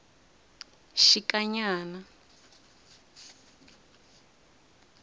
xikanyana